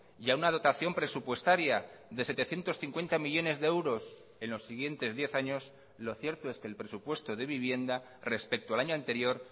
y a una dotación presupuestaria de setecientos cincuenta millónes de euros en los siguientes diez años lo cierto es que el presupuesto de vivienda respecto al año anterior